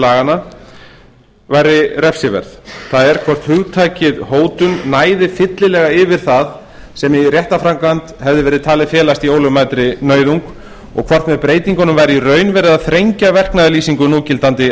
laganna væri refsiverð það er hvort hugtakið hótun næði fyllilega yfir það sem í réttarframkvæmd hefði verið talið felast í ólögmætri nauðung og hvort með breytingunum væri í raun verið að þrengja verknaðarlýsingu núgildandi